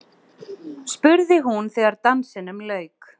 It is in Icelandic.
spurði hún þegar dansinum lauk.